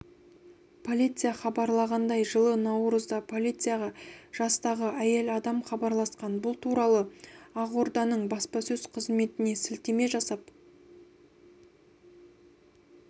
полиция хабарлағандай жылы наурызда полицияға жастағы әйел адам хабарласқан бұл туралы ақорданың баспасөз қызметіне сілтеме жасап